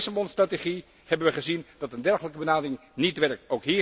Bij de Lissabon strategie hebben wij gezien dat een dergelijke benadering niet werkt.